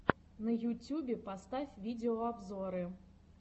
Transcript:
на ютюбе поставь видеообзоры